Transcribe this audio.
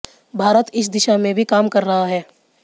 भारत इस दिशा में भी काम कर रहा है